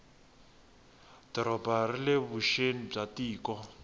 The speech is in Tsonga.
doroba rile vuxeni bya tiko